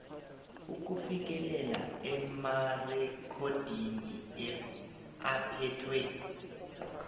ukufikelela emarekhodini aphethwe